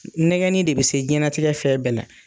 Nɛgɛnni de bɛ se diɲɛlatigɛ fɛn bɛɛ la.